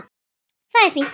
Það er fínt.